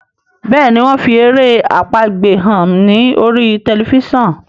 Béèni wón fí èrè àpagbè hàn ní orí Tẹlifísàn.